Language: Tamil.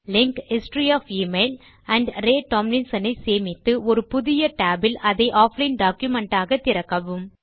link history of email amp Ray Tomlinson ஐ சேமித்து ஒரு புதிய tab இல் அதை ஆஃப்லைன் டாக்குமென்ட் ஆக திறக்கவும்